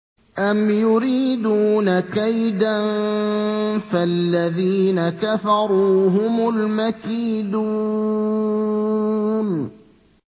أَمْ يُرِيدُونَ كَيْدًا ۖ فَالَّذِينَ كَفَرُوا هُمُ الْمَكِيدُونَ